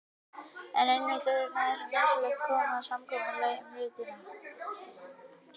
En einmitt þess vegna er svo nauðsynlegt að komast að samkomulagi um hlutina.